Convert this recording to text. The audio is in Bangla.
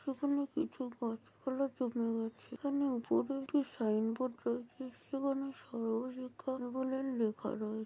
এখানে কিছু গাছ পালা জমে গেছেএখানে উপরে একটি সাইন বোর্ড রয়েছে সেখানে সর্ব শিক্ষা বলে লিখা রয়ে-